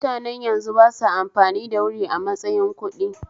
Mutanen yanzu basa amfani da wuri a matsayin kuɗdi